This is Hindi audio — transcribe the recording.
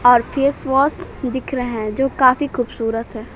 और फेस वॉश दिख रहे हैं जो काफी खूबसूरत हैं।